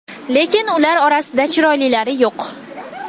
Lekin ular orasida chiroylilari yo‘q.